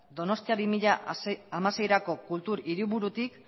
donostia bi mila hamaseirako kultur hiriburutik